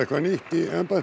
og það er óhætt að segja